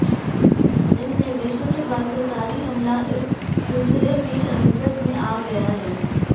इन निर्देशों के बाद सरकारी अमला इस सिलसिले में हरकत में आ गया है